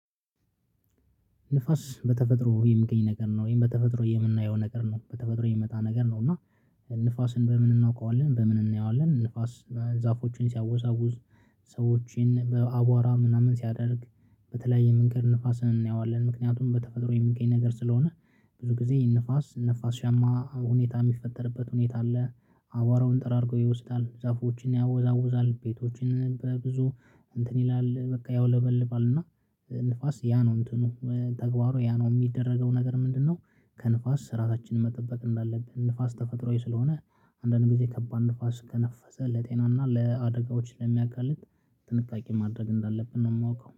ንፋስ በተፈጥሮ የሚገኝ ነገር ነው ወይም በተፈጥሮ የምናየው ነገር ነው በተፈጥሮ የሚመጣ ነገር ነው። እና ንፋስን በምን እናውቀዋለን በምን እናየዋለን ንፋስ ዛፎችን ሲያወዛውዝ ሰዎችን በአቧራ ምናምን ሲያደርግ በተለያየ መንገድ ንፋስን እናየዋለን። ምክንያቱም በተፈጥሮ የሚገኝ ነገር ስለሆነ ብዙ ጊዜ ንፋስ ነፋሻማ ሁኔታ የሚፈጠርበት ሁኔታ አለ። አቧራውን ጠራርገው ይወስዳል ዛፎችን ያወዛውዛል ቤቶችን በብዙ እንትን ይላል በቃ ያውለበልባል እና። ንፋስ ያ ነው እንትኑ ተግባሩ ያ ነው የሚደረገው ነገር ምንድነው? ከንፋስ ራሳችንን መጠበቅ እንዳለብን ንፋስ ተፈጥሮአዊ ስለሆነ አንዳንድ ጊዜ ከባድ ንፋስ ከነፈሰ ለጤናና ለአደጋዎች ለሚያጋልጥ ጥንቃቄ ማድረግ እንዳለብን ነው የማውቀው